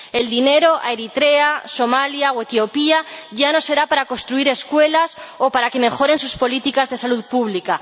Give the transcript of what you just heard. El dinero para Eritrea, Somalia o Etiopía ya no será para construir escuelas o para que mejoren sus políticas de salud pública.